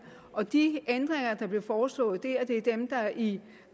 og de ændringer der blev foreslået der er dem der i